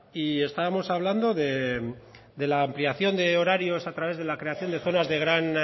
y estábamos hablando de la ampliación de horarios a través de la creación de zonas de gran